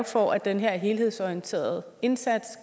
for at den her helhedsorienterede indsats